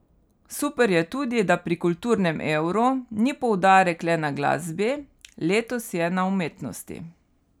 Super je tudi, da pri Kulturnem evru ni poudarek le na glasbi, letos je na umetnosti.